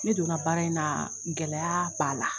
Ne donna baara in na, gɛlɛya b'a la.